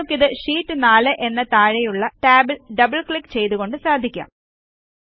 നിങ്ങൾക്കിത്Sheet 4 എന്ന താഴെയുള്ള ടാബിൽ ഡബിൾ ക്ലിക്ക് ചെയ്തുകൊണ്ട് സാധിക്കാം